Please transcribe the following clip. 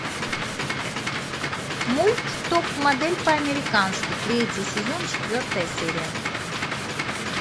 мульт топ модель по американски третий сезон четвертая серия